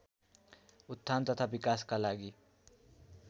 उत्थान तथा विकासका लागि